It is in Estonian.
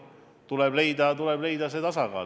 Tuleb leida tasakaal.